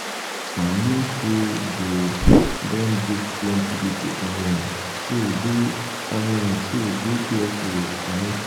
uju talk say she dey meet one guy she talk with online but i advice am make she no go